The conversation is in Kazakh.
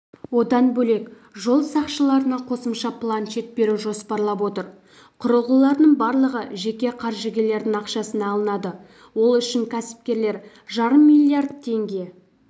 одан бөлек жол сақшыларына қосымша планшет беру жоспарлап отыр құрылғылардың барлығы жеке қаржыгерлердің ақшасына алынады ол үшін кәсіпкерлер жарым миллиард теңге